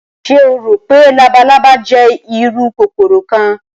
Ṣe o ro pe labalaba jẹ iru kokoro kan?